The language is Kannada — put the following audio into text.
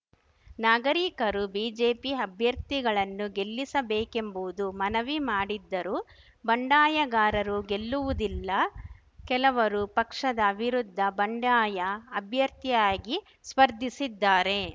ನಾಗರಿಕರು ಬಿಜೆಪಿ ಅಭ್ಯರ್ಥಿಗಳನ್ನು ಗೆಲ್ಲಿಸಬೇಕೆಂಬುವುದು ಮನವಿ ಮಾಡಿದ್ದರು ಬಂಡಾಯಗಾರರು ಗೆಲ್ಲುವುದಿಲ್ಲ ಕೆಲವರು ಪಕ್ಷದ ವಿರುದ್ಧ ಬಂಡಾಯ ಅಭ್ಯರ್ಥಿಯಾಗಿ ಸ್ಪರ್ಧಿಸಿದ್ದಾರೆ